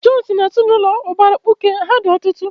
Jọn si n'ezinụlọ ụbara mkpuke, ha dị ọtụtụ.